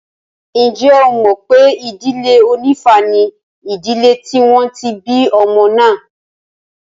Ǹjẹ́ ẹ mọ̀ pé ìdílé onífá ni ìdílé tí wọ́n ti bí ọmọ náà?